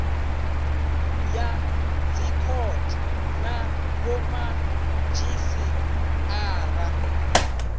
ya dzikhothe na vhomadzhisi ara